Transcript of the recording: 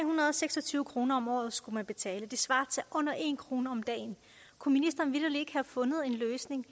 hundrede og seks og tyve kroner om året skulle man betale og det svarer til under en kroner om dagen kunne ministeren vitterlig ikke have fundet en løsning